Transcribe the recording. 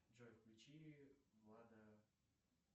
джой включи влада